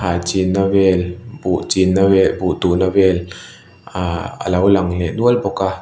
thlai chinna vel buh chinna vel buh tuhna vel aaa alo lang leh nual bawk a.